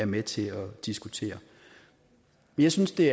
med til at diskutere jeg synes det